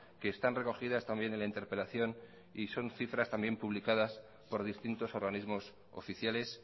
que están recogidas también en la interpelación y son cifras también publicadas por distintos organismos oficiales